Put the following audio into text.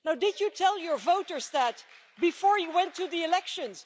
Now, did you tell your voters that before you went to the elections?